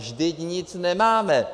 Vždyť nic nemáme.